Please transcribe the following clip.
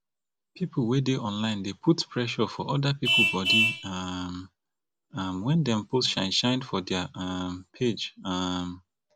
pipo wey dey online dey put pressure for oda pipo body um um when dem post shine shine for their um page um